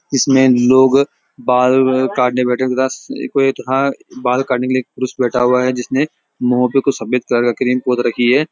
इसमें लोग बाल काटने बैठे था कोई था बाल काटने के लिए एक पुरुष बैठा हुआ है जिसने मुँह पे कुछ सफेद कलर का क्रीम पोत रखी है।